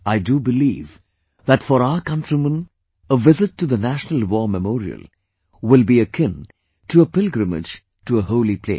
I do believe that for our countrymen a visit to the National War Memorial will be akin to a pilgrimage to a holy place